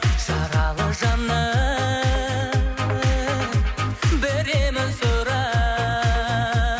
жаралы жанның бір емін сұрап